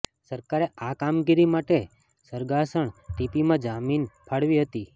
સરકારે આ કામગીરી માટે સરગાસણ ટીપીમાં જમીન ફાળવી હતી